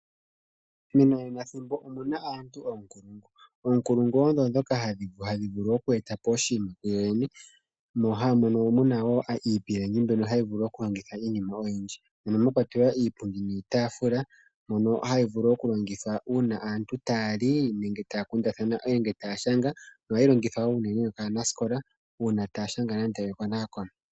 Omu na aantu oonkulungu. Oonkulungu odho ndhoka hadhi vulu oku eta po oshinima kuyoyene, mo haa mono wo iipilangi mbyono haya vulu okuhongithwa iinima oyindji. Mono mwa kwatelwa iipundi niitaafula mbyono hayi longithwa uuna aantu taya li, taya kundathana nenge taya shanga nohayi longithwa wo unene nokaanasikola uuna taya shanga nande ekonekono.